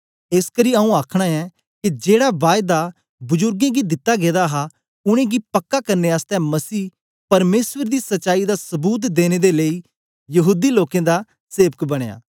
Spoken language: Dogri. एसकरी आऊँ आखना ऐं के जेड़े बायदा बुजुर्गें गी दिते गेदे हे उनेंगी पक्का करने आसतै मसीह परमेसर दी सच्चाई दा सबूत देने दे लेई यहूदी लोकें दा सेवक बनया